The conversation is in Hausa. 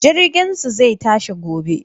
Jirginsu zai tashi ne gobe.